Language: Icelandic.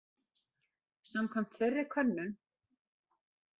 Samkvæmt þeirri könnun